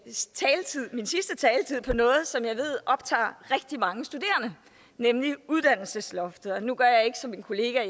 sidste taletid på noget som jeg ved optager rigtig mange studerende nemlig uddannelsesloftet nu gør jeg ikke som min kollega i